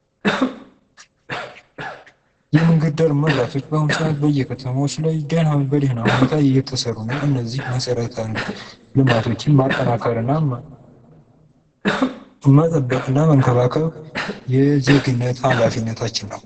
የመንገድ ዳር መብራቶች በአሁኑ ሰዓት በየከተማዎች ላይ በደና ሁኔታ እየተሰሩ ነዉ። እነዚህ መሰረተ ልማቶችን ማጠናከር መጠበቅ እና መንከባከብ የዜግነት ኃላፊነታችን ነዉ።